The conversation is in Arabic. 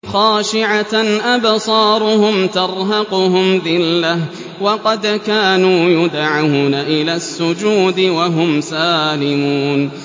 خَاشِعَةً أَبْصَارُهُمْ تَرْهَقُهُمْ ذِلَّةٌ ۖ وَقَدْ كَانُوا يُدْعَوْنَ إِلَى السُّجُودِ وَهُمْ سَالِمُونَ